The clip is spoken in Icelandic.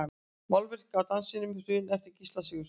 Málverk af Dansinum í Hruna eftir Gísla Sigurðsson.